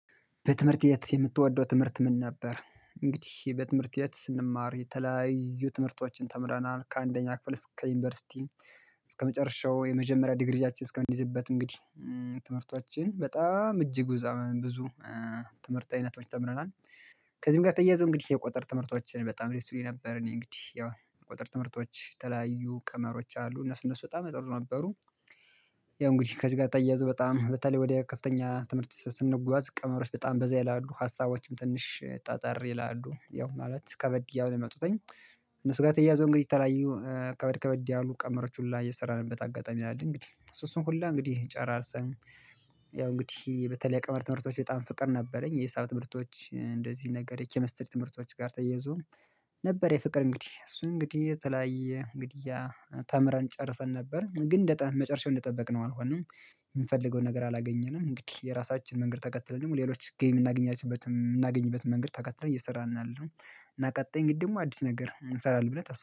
በትምህርት ቤት የምትወደው ትምህርት ምን ነበር? እንግዲህ በትምህርት ቤት ስንማር የተለያዩ ትምህርቶችን ተምረናል ከአንደኛ ክፍል እስከ ዩኒቨርሲቲ እስከመጨረሻው የመጀመሪያ ዲግሪያችን እስከምንይዝበት እንግዲህ ትምህርቶችን በጣም እጅግ ዘመን ብዙ ትምህርት አይነቶች ተምረናል። ከዚህም ጋር ተያይዞ እንግዲህ የቁጥር ትምህርቶችን በጣም ደስ ይሉኝ ነበር እኔ እንግዲህ ያው የቁጥር ትምህርቶች የተለያዩ ቀመሮች አሉ እነሱ እነሱ በጣም ጥሩ ነበሩ። ያው እንግዲህ ከዚህ ጋር ተያይዞ በጣም በተለይ ወደ ከፍተኛ ትምህርት ስንጓዝ ቀመሮች በጣም በዛ ይላሉ ሀሳቦችም ትንሽ ጠጠር ይላሉ ያው ማለት ከበድ እያለ መጥቶኝ። እነሱ ጋር ተያያዞ እንግዲህ የተለያዩ ከበድ ከበድ ያሉ ቀመሮች ሁላ የሰራንበት አጋጣሚ አለ እንግዲህ እሱ እሱን ሁላ እንግዲህ ጨራርሰን። ያው እንግዲህ በተለይ ቀመር ትምህርቶች በጣም ፍቅር ነበረኝ የሂሳብ ትምህርቶች እንደዚህ ነገር የኬሚስትሪ ትምህርቶች ጋር ተያይዞ። ነበረ የፍቅር እንግዲህ እሱ እንግዲህ የተለያየ እንግዲያ ተምረን ጨርሰን ነበር ግን መጨረሻው እንደጠበቅነው አልሆነም። የምንፈልገውን ነገር አላገኘንም እንግዲህ የራሳችን መንገድ ተከትለን ደግሞ ሌሎች ጌም የምናገኛቸው የምናገኝበትን መንገድ ተከትለን እየሰራን ነው ያለነው። እና ቀጣይ ደግሞ አዲስ ነገር እንሰራለን ብለን ተስፋ